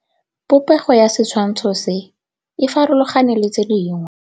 Popêgo ya setshwantshô se, e farologane le tse dingwe.